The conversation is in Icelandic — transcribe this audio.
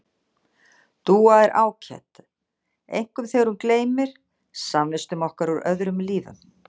Dúa er ágæt, einkum þegar hún gleymir samvistum okkar úr öðrum lífum.